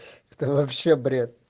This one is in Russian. это вообще бред